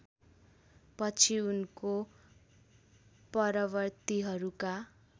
पछि उनको परवर्तिहरूका